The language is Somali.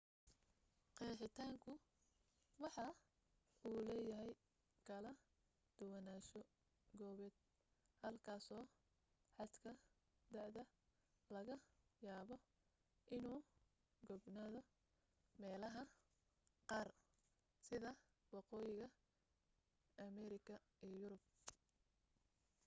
qeexitaanku waxa uu leeyahay kala duwanaansho goobeed halkaaso xadka da'da laga yaabo inuu gaabnaado meelaha qaar sida waqooyiga ameerika iyo yurub